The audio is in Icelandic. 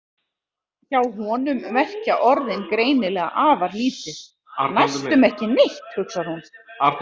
Hjá honum merkja orðin greinilega afar lítið, næstum ekki neitt, hugsar hún.